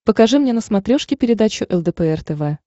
покажи мне на смотрешке передачу лдпр тв